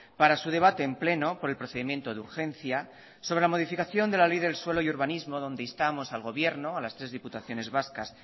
para su debate en pleno por el procedimiento de urgencia sobre la modificación de la ley del suelo y urbanismo donde instamos al gobierno a las tres diputaciones vascas